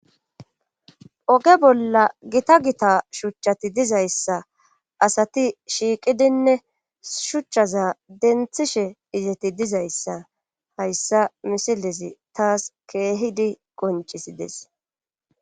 oge bolla gita gita shuchchati dizayssa asati shiiqidinne shuchchaza denthishe izeti dizayssa hayssa misilesi taas keehidi goncisides